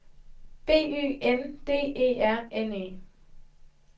B Ø N D E R N E